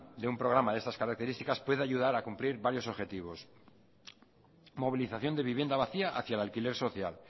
de un programa de estas características puede ayudar a cumplir varios objetivos movilización de vivienda vacía hacía el alquiler social